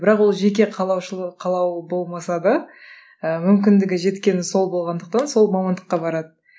бірақ ол жеке қалаушылық қалауы болмаса да ы мүмкіндігі жеткені сол болғандықтан сол мамандыққа барады